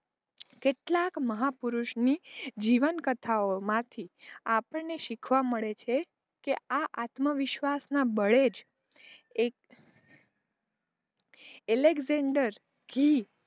કેટલાક મહાપુરુષોની જીવન કથાઑમાંથી આપણને શીખવા મળે છે, કે આ આત્મવિશ્વાસનાં બળેજ એક એલેક્જેંડર